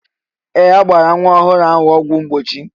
Ee! A gbala nwa ọhụrụ ahụ ọgwụ mgbochi.